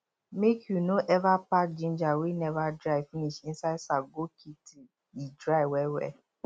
make you no ever pack ginger wey never dry finish inside sack go keep till e dry well well